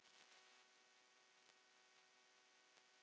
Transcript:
Þetta var einhver eitrun.